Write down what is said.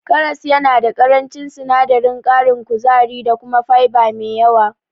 Karas yana da ƙarancin sinadarin ƙarin kuzari da kuma fiber me yawa.